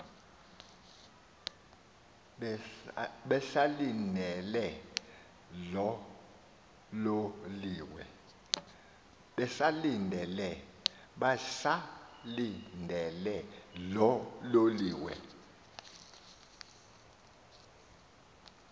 besalindele loo loliwe